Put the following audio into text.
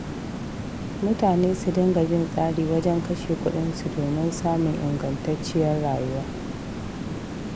Mutane su dinga bin tsari wajen kashe kuɗinsu domin samun ingantacciyar rayuwa.